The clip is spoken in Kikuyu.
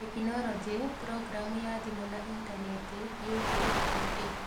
Tekinoronjĩ: Programu ya thimũ na Intaneti, Youtube, TV